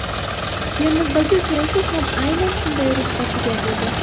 Termizdagi uchrashuv ham aynan shunday ruhda tugatildi.